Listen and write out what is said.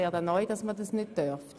Dies darf man bereits heute.